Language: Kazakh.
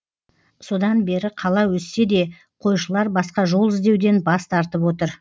содан бері қала өссе де қойшылар басқа жол іздеуден бас тартып отыр